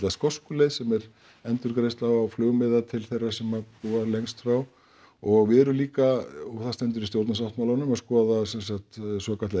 skosku leið sem er endurgreiðsla á flugmiða til þeirra sem búa lengst frá og við erum líka og það stendur í stjórnarsáttmálanum að skoða sem sagt svokallaða